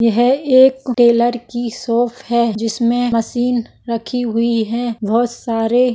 यह एक टेलर की शॉप है जिस में मशीन रखी हुई है बहुत सारे--